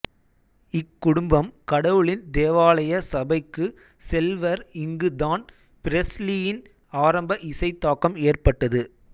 இக்குடும்பம் கடவுளின் தேவாலய சபைக்கு செல்வர் இங்கு தான் பிரெஸ்லியின் ஆரம்ப இசை தாக்கம் ஏற்பட்டது